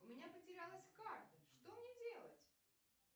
у меня потерялась карта что мне делать